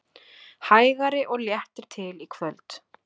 Hægari og léttir til í kvöld